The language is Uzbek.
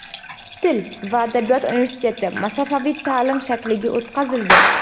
Til va adabiyot universiteti masofaviy ta’lim shakliga o‘tkazildi.